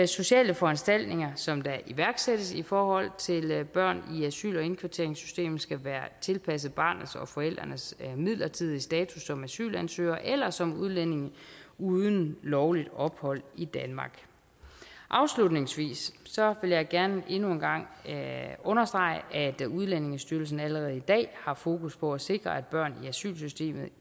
sociale foranstaltninger som der iværksættes i forhold til børn i asyl og indkvarteringssystemet skal være tilpasset barnets og forældrenes midlertidige status som asylansøgere eller som udlændinge uden lovligt ophold i danmark afslutningsvis vil jeg gerne endnu en gang understrege at udlændingestyrelsen allerede i dag har fokus på at sikre at børn i asylsystemet